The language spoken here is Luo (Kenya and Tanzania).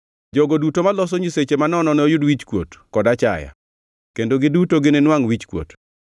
Jogo duto maloso nyiseche manono noyud wichkuot kod achaya; kendo giduto gininwangʼ wichkuot.